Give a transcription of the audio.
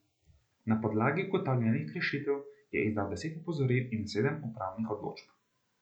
Na podlagi ugotovljenih kršitev je izdal deset opozoril in sedem upravnih odločb.